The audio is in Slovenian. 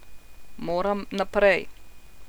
Moram naprej.